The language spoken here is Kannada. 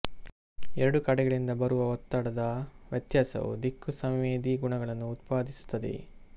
ಎರಡೂ ಕಡೆಗಳಿಂದ ಬರುವ ಒತ್ತಡದ ವ್ಯತ್ಯಾಸವು ದಿಕ್ಕು ಸಂವೇದಿ ಗುಣಗಳನ್ನು ಉತ್ಪಾದಿಸುತ್ತದೆ